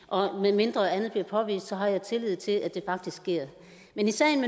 og medmindre andet bliver påvist har jeg tillid til at det faktisk sker men i sagen